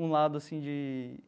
um lado assim de